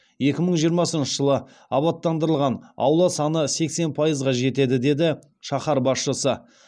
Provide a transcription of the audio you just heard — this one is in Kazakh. екі мың жиырмасыншы жылы абаттандырылған аула саны сексен пайызға жетеді деді шаһар басшысы